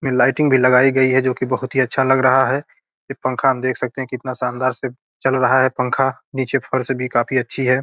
यहां लाइटिंग भी लगाई गई है जो की बहुत अच्छा लग रहा है ये पंखा हम देख सकते है कितना शानदार से चल रहा है पंखा नीचे फर्श भी काफी अच्छी है।